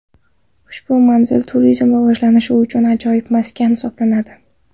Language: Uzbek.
Ushbu manzil turizmni rivojlantirish uchun ajoyib maskan hisoblanadi.